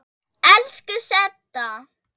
Elsku Setta.